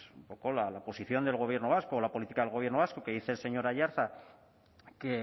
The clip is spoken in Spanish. un poco la posición del gobierno vasco o la política del gobierno vasco que dice el señor aiartza que